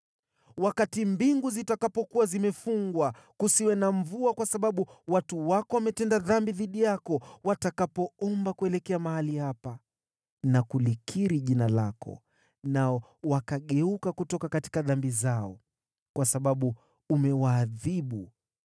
“Wakati mbingu zitakapokuwa zimefungwa kusiwe na mvua kwa sababu watu wako wametenda dhambi dhidi yako, watakapoomba kuelekea mahali hapa na kulikiri jina lako nao wakageuka kutoka dhambi zao kwa sababu umewaadhibu,